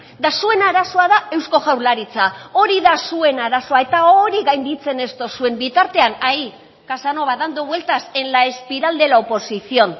eta zuen arazoa da eusko jaurlaritza hori da zuen arazoa eta hori gainditzen ez duzuen bitartean ahí casanova dando vueltas en la espiral de la oposición